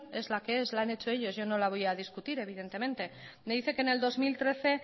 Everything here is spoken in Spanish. es la que es la han hecho ellos yo no la voy a discutir evidentemente me dice que en el dos mil trece